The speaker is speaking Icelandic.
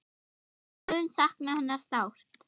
Ég mun sakna hennar sárt.